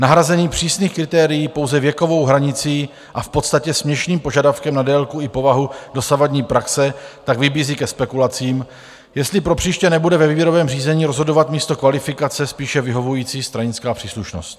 Nahrazení přísných kritérií pouze věkovou hranicí a v podstatě směšným požadavkem na délku i povahu dosavadní praxe tak vybízí ke spekulacím, jestli pro příště nebude ve výběrovém řízení rozhodovat místo kvalifikace spíše vyhovující stranická příslušnost.